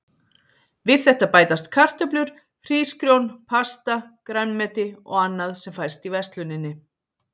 Við þetta bætast kartöflur, hrísgrjón, pasta, grænmeti og annað sem fæst í versluninni.